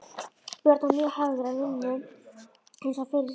Björn var mjög hafður að vinnu eins og fyrr segir.